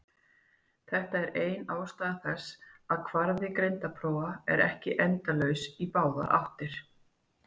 Þetta er ein ástæða þess að kvarði greindarprófa er ekki endalaus í báðar áttir.